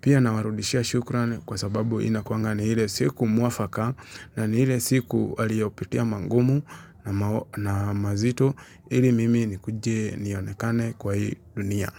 Pia nawarudishia shukran kwa sababu inakuanga ni hile siku muafaka. Na ni hile siku aliyopitia mangumu na mazito. Ili mimi ni kuji nionekane kwa hii dunia.